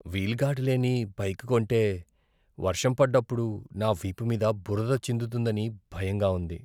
Wheel guard లేని bike కొంటే వర్షం పడ్డప్పుడు నా వీపు మీద బురద చిందుతుందని భయంగా ఉంది.